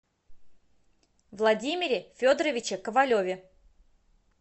владимире федоровиче ковалеве